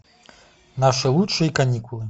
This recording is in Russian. наши лучшие каникулы